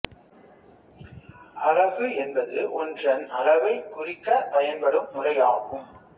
அலகு என்பது ஒன்றன் அளவைக் குறிக்கப் பயன்படும் முறை ஆகும்